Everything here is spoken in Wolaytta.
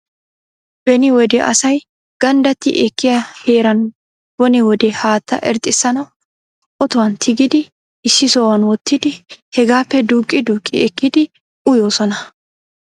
Beni wode asay ganddati ekkiyaa heeran bone wode haattaa irxxissanaw ottuwan tigidi issi sohuwan wottidi hegappe duuqqi duqqi ekkidi uyyoosona.